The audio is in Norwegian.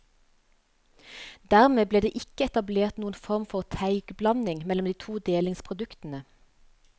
Dermed ble det ikke etablert noen form for teigblanding mellom de to delingsproduktene.